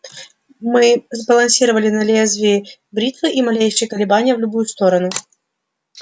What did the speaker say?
мы сбалансировали на лезвии бритвы и малейшие колебания в любую сторону